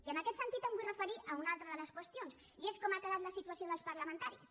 i en aquest sentit em vull referir a una altra de les qüestions i és com ha quedat la situació dels parlamentaris